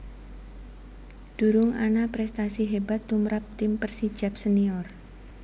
Durung ana prèstasi hébat tumrap tim Persijap Senior